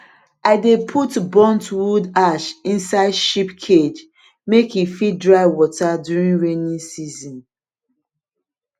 i dey put burnt wood ash inside sheep cage make e fit dry water during rainy season